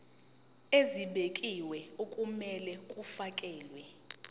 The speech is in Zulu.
ezibekiwe okumele kufakelwe